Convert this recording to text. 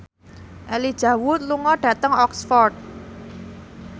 Elijah Wood lunga dhateng Oxford